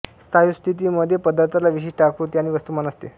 स्थायु स्थीथी मध्ये पदार्थाला विशिष्ट आकृती आणि वस्तुमान असते